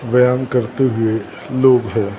व्यान करते हुए लोग हैं।